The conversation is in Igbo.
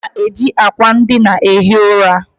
A na-eji akwa ndịna ehi ura.